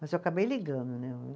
Mas eu acabei ligando, né?